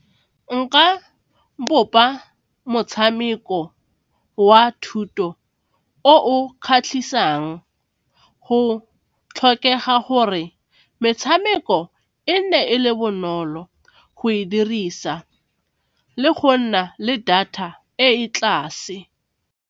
Nka bopa motshameko wa thuto o kgatlhisang, go tlhokega gore metshameko e ne e le bonolo go e dirisa le go nna le data e e tlase.